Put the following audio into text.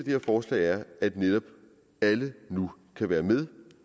her forslag er at netop alle nu kan være med